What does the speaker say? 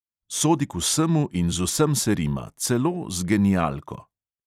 Sodi k vsemu in z vsem se rima, celo z genialko!